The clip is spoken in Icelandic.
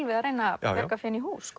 við að reyna að bjarga fénu í hús